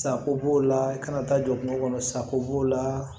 Sako b'o la kana taa jɔ kungo kɔnɔ sako b'o la